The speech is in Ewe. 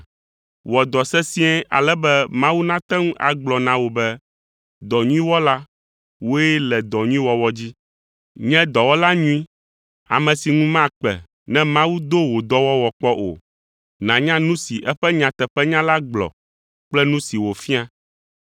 Wɔ dɔ sesĩe ale be Mawu nate ŋu agblɔ na wò be, “Dɔ nyui wɔla, wòe le dɔ nyui wɔwɔ dzi.” Nye dɔwɔla nyui, ame si ŋu makpe ne Mawu do wò dɔwɔwɔ kpɔ o. Nànya nu si eƒe nyateƒenya la gblɔ kple nu si wòfia.